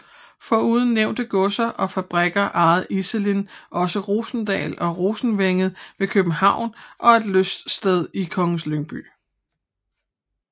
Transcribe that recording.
Foruden nævnte godser og fabrikker ejede Iselin også Rosendal og Rosenvænget ved København og et lyststed i Kongens Lyngby